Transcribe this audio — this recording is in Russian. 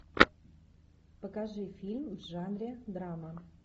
покажи фильм в жанре драма